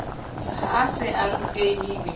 ha a se a rutehile